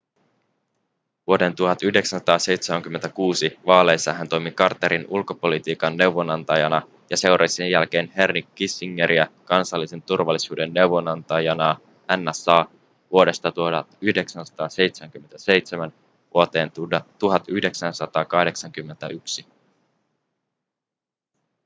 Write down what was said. vuoden 1976 vaaleissa hän toimi carterin ulkopolitiikan neuvonantajana ja seurasi sen jälkeen henry kissingeriä kansallisen turvallisuuden neuvonantajana nsa vuodesta 1977 vuoteen 1981